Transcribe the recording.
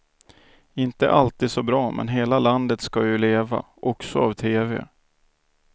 Inte alltid så bra men hela landet ska ju leva, också av tv.